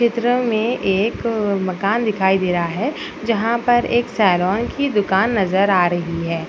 चित्र में एक मकान दिखाई दे रहा है जहाँ पर एक सेलोन की दुकान नजर आ रही है।